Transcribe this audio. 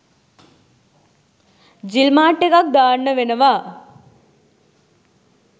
ජිල් mart එකක් දාන්න වෙනවා.